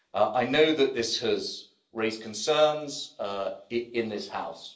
I know that this has raised concerns in this House.